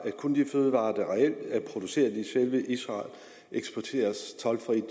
kun de fødevarer der reelt er produceret i selve israel eksporteres toldfrit